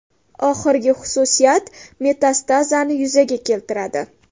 Oxirgi xususiyat metastazani yuzaga keltiradi.